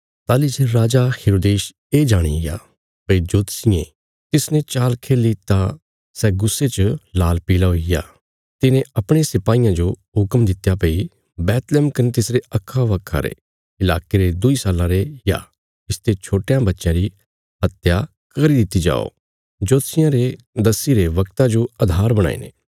ताहली जे राजा हेरोदेस ये जाणिग्या भई जोतषियें तिसने चाल खेल्ही तां सै गुस्से च लाल पील़ा हुईग्या तिने अपणे सिपाईयां जो हुक्म दित्या भई बैतलहम कने तिसरे अक्खाबक्खा रे इलाके रे दुईं साल्लां रे या इसते छोट्टयां बच्चयां री हत्या करी दित्ति जाओ जोतषियां रे दस्सीरे बगता जो आधार बणाईने